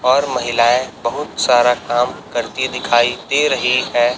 और महिलाएं बहुत सारा काम करती दिखाई दे रहीं है।